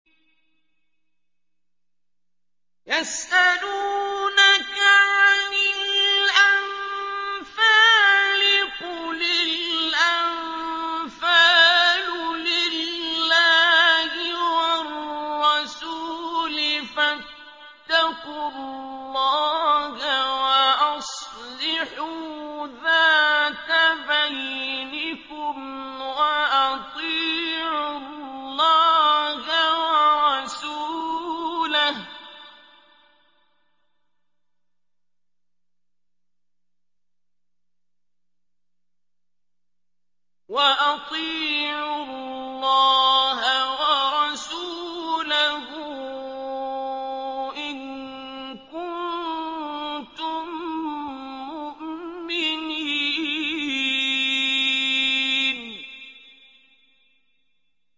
يَسْأَلُونَكَ عَنِ الْأَنفَالِ ۖ قُلِ الْأَنفَالُ لِلَّهِ وَالرَّسُولِ ۖ فَاتَّقُوا اللَّهَ وَأَصْلِحُوا ذَاتَ بَيْنِكُمْ ۖ وَأَطِيعُوا اللَّهَ وَرَسُولَهُ إِن كُنتُم مُّؤْمِنِينَ